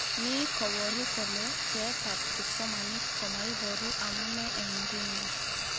Ni koboru kole bjeetab kipsomanink komaiboru amunee eng nguni